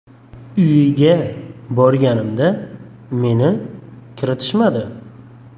Uyiga borganimda meni kiritishmadi.